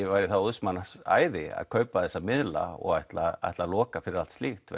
væri óðs manns æði að kaupa þessa miðla og ætla ætla að loka fyrir allt slíkt